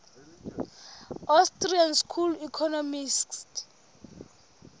austrian school economists